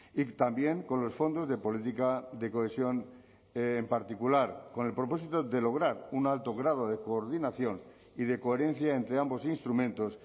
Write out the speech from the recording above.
y también con los fondos de política de cohesión en particular con el propósito de lograr un alto grado de coordinación y de coherencia entre ambos instrumentos